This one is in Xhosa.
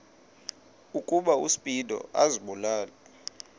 ukuba uspido azibulale